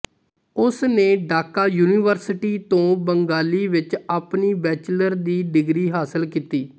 ਉਸਨੇ ਢਾਕਾ ਯੂਨੀਵਰਸਿਟੀ ਤੋਂ ਬੰਗਾਲੀ ਵਿਚ ਆਪਣੀ ਬੈਚਲਰ ਦੀ ਡਿਗਰੀ ਹਾਸਿਲ ਕੀਤੀ